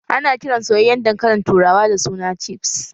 Ana kiran soyyayen dankalin turawa da suna cifs